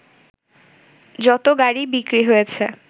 যত গাড়ি বিক্রি হয়েছে